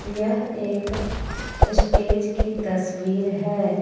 यह एक स्टेज की तस्वीर है।